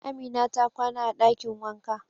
Amina ta kwana a dakin wanka.